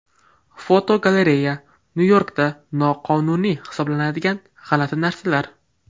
Fotogalereya: Nyu-Yorkda noqonuniy hisoblanadigan g‘alati narsalar.